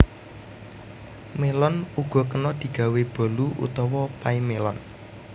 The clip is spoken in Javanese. Mélon uga kena digawé bolu utawa pay mélon